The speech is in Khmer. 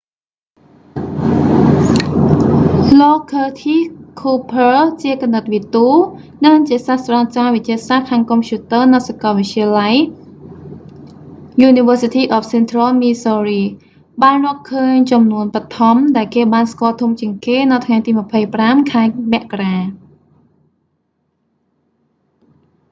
លោក curtis cooper ឃើរធីស ឃូភើ ជាគណិតវិទូ និងជាសាស្ត្រាចារ្យវិទ្យាសាស្ត្រខាងកុំព្យូទ័រនៅសាកលវិទ្យាល័យ university of central missouri បានរកឃើញចំនួនបឋម ដែលគេបានស្គាល់ធំជាងគេ នៅថ្ងៃទី 25 ខែមករា